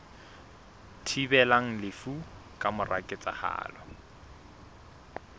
thibelang lefu ka mora ketsahalo